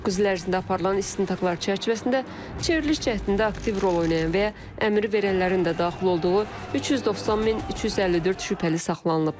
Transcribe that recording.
9 il ərzində aparılan istintaqlar çərçivəsində çevriliş cəhdində aktiv rol oynayan və əmri verənlərin də daxil olduğu 390 min 354 şübhəli saxlanılıb.